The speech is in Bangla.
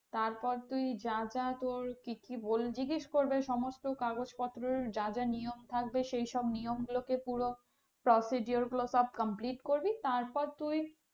তারপর তুই যা যা তোর কি কি জিজ্ঞেস করবে সমস্ত কাগজপত্র যা যা নিয়ম থাকবে সেই সব নিয়ম গুলোকে পুরো procedure গুলো সব complete করবি। তারপর তুই,